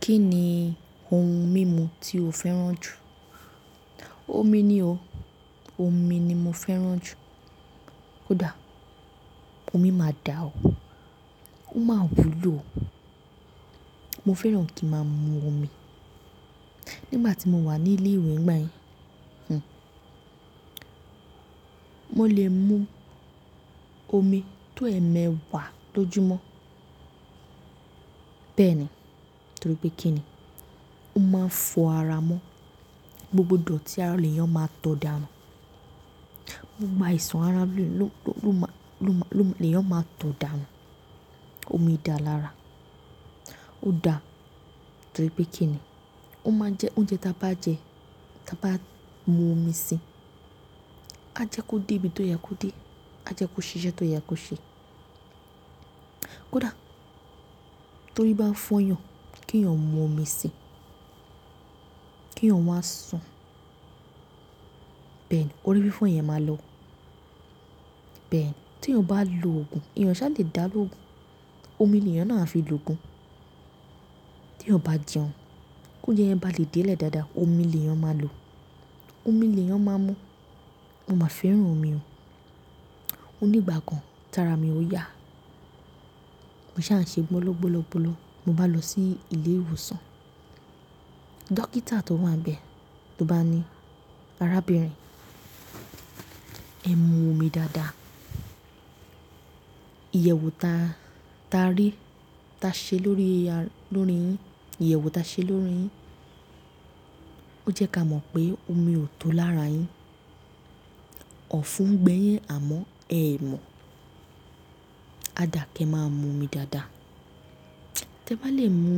Kí ni ohun mímu tí o fẹ́ràn jù? Omi ni o. Omi ni mo fẹ́ràn jù. Ó dá, omi máa dà ó. Ó máa wúlò. Mo fẹ́ràn kí a máa mu omi. Nígbà tí mo wà ní ilé ìwé nígbà yẹn, mo lè mu omi tó ẹ̀ẹmẹ̀wà tó jù mọ́. Bẹ́ẹ̀ ni, torí pé kí ni, ó máa ń fọ ara mọ́. Gbogbo dòtí ara lè yàn máa tó dànù. Gbogbo ìṣàn ara lè yàn máa tó dànù. Omi dà lára. Ó dá, torí pé kí ni, ó máa ń jẹ oúnjẹ tí a bá jẹ, tí a bá mu omi síi. A jẹ kó dé ibi tó yẹ kó dé. A jẹ kó ṣe iṣẹ́ tó yẹ kó ṣe. kó dá, torí bá fọyàn kí ẹyàn mu omi síi, kí ẹyàn wáa sùn. Bẹ́ẹ̀ ni, orí fífọ́ yẹn máa lọ. Bẹ́ẹ̀ ni, tí ẹyàn bá lo òògùn, ẹyàn ò sá lè dá lóògùn, omi ni èèyàn náà á fi lo òògùn. Tí ẹyàn bá jẹun, kí oúnjẹ yẹn ba lè dé lẹ̀ dáadáa, omi ni èèyàn máa lò. Omi ni èèyàn máa mú. Mo máa ń fẹ́ràn omi o. O ní ìgbà kan, t'ara mi ò yá. Mo sá ń ṣe gbóló, gbóló, gbóló, mo bá lọ sí ilé ìwòsàn. Dọ́kítà tó wà níbẹ̀ ló bá ni, "Arábìnrin, ẹ mu omi dáadáa. Iyẹ̀wo ta, ta rí, ta ṣe lórí, lórí yin, iyẹ̀wo ta ṣe lórí yin, ó jẹ́ kí a mọ̀ pé omi ò tó lára yin. Ọ̀fun ń gbé yin àmọ́ ẹ ò mọ̀. Á dà kí ẹ máa mu omi dáadáa. Tẹ bá lè mu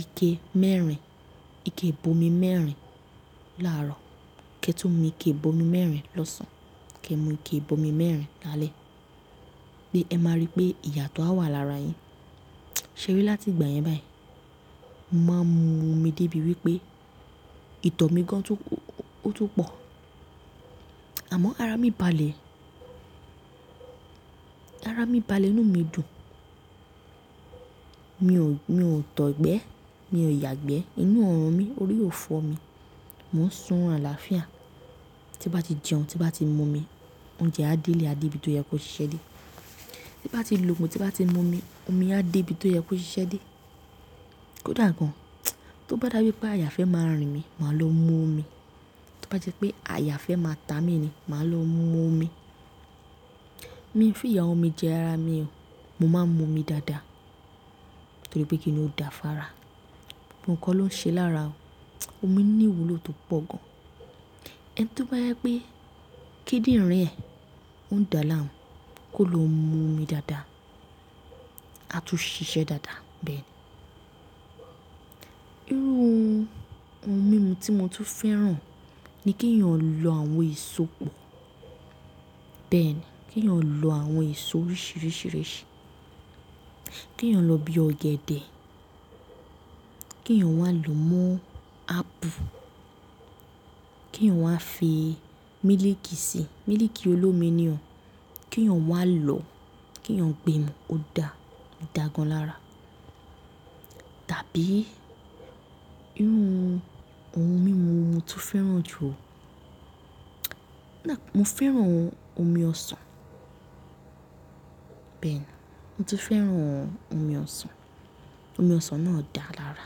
ike mẹ́rin, ike ìb'omi mẹ́rin láàárọ̀, kí ẹ tu mu ike ìb'omi mẹ́rin lọ́sàn-án, kí ẹ mú ike ìb'omi mẹ́rin lálẹ́, pé ẹ máa rí pé ìyàtó á wà lára ẹyin." Ṣé rí láti ìgbà yẹn báyìí, mo máa ń mu omi débi wípé ìtọ́ mi gan tún, ó tún pọ̀. Àmọ́ ara mi bá lè, ara mi bá le inú mi dùn. Mi ò, mi ò tọ́ gbẹ. Mi ò yà gbẹ. Inú ò rùn mi, orí ò fọ́ mi. Mo ń sùn oorun làáfíà. Tí bá ti jẹun, tí bá ti mu omi, oúnjẹ á dé lè, á dé ibi tó yẹ kó ṣise dé. Tí bá ti lo òògùn, tí bá ti mu omi, omi á dé ibi tó yẹ kó ṣise dé. kó dà gan. Tó bá dà wípé àyà fẹ́ máa rìn mí, màá lọ mu omi. Tó bá jẹ́ pé àyà fẹ́ máa ta mi ni, màá lọ mu omi. Mi ò fi ìyà omi jẹ ara mi o. Mo máa ń mu omi dáadáa torí pé kí ni ó dà fára. Ohun kan ló ń ṣe lára o. Omi ní ìwúlò tó pọ̀ gan. Ẹni tó bá yẹ pé kíndìnrín rẹ̀ oun dà láàmú, kó lọ mu omi dáadáa, á tún ṣiṣẹ́ dáadáa bẹ́ẹ̀ ni. Irú ohun mímu tí mo tún fẹ́ràn ni kí èèyàn lọ àwọn èso pọ̀. Bẹ́ẹ̀ ni, kí èèyàn lọ àwọn èso oríṣìíríṣìí. Kí èèyàn lọ bí ọ̀gẹ̀dẹ̀, kí èèyàn wá lò mọ́ ápple, kí èèyàn wá fi mílíkì sí i, mílíkì olómi ni o. Kí èèyàn wá lò, kí èèyàn gbé mu ó dà, ó dà gan lára. Tàbí irú ohun mímu wo mo tún fẹ́ràn jù o. Mo fẹ́ràn omi ọsàn. Bẹ́ẹ̀ ni, mo tún fẹ́ràn omi ọsàn. Omi ọsàn náà dà lára.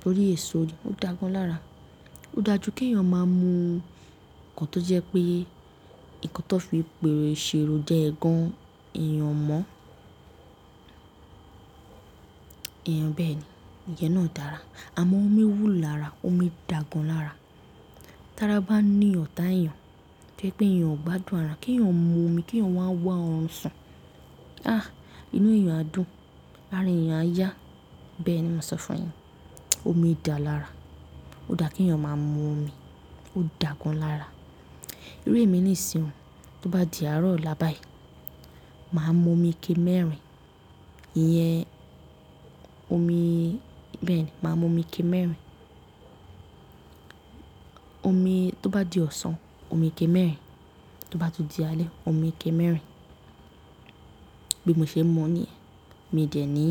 Torí èso rẹ̀, ó dàa gan lára. Ó dà jú kí èèyàn máa mú nǹkan tó jẹ́ pé nǹkan tó fi pero, se ro ja ẹ́ gan, èèyàn ò mọ́. Èèyàn bẹ́ẹ̀ ni, ìyẹ́ náà dà lára. Àmọ́ omi wùlo lára, omi dà gan lára. Tára bá ń ní ọ̀tá èèyàn, tó jẹ́ pé èèyàn ò gbádùn ara, kí èèyàn mu omi, kí èèyàn wá wá ọrùn sùn. Ah! Inú èèyàn á dùn, ara èèyàn á yá. Bẹ́ẹ̀ ni mo sọ fún ẹ. Omi dà lára. Ó dà kí èèyàn máa mu omi. Ó dà gan lára. Irú èmi ní ìsinmi, tó bá di àárọ̀ ọ̀la báyìí, màá mu omi ike mẹ́rin. Ìyẹn omi, bẹ́ẹ̀ ni, màá mu omi ike mẹ́rin. Omi, tó bá di ọ̀sán, omi ike mẹ́rin. Tó bá tó di alẹ́, omi ike mẹ́rin. Bí mo ṣe ń mu ni, mi dẹ̀ ní.